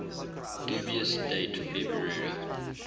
dubious date february